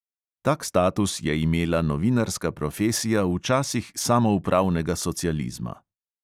Tak status je imela novinarska profesija v časih samoupravnega socializma.